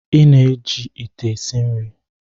Ị na-eji ite esi nri